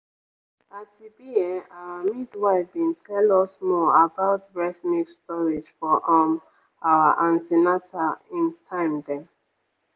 as e be[um]our midwife bin tell us more about breast milk storage for um our an ten atal ehm time dem.